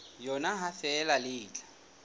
yona ha feela le tla